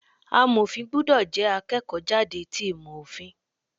Amọ̀fin gbúdọ̀ jẹ́ akẹ́kọ̀ọ́ jáde ti ìmò Òfin.